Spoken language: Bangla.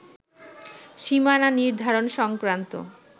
সীমানা নির্ধারণ সংক্রান্ত